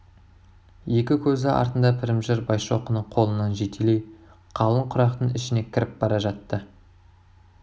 екі көзі артында пірімжар байшоқыны қолынан жетелей қалың құрақтың ішіне кіріп бара жатты